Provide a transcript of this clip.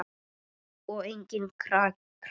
Og enginn krakki!